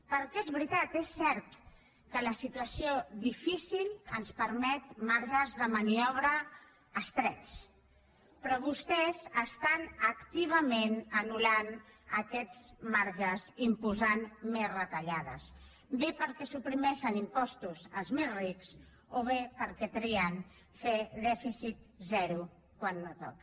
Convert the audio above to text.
perquè és veritat és cert que la situació difícil ens permet marges de maniobra estrets però vostès estan activament anul·lant aquests marges imposant més retallades bé perquè suprimeixen impostos als més rics o bé perquè trien fer dèficit zero quan no toca